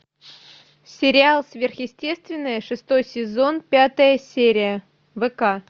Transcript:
сериал сверхъестественное шестой сезон пятая серия вк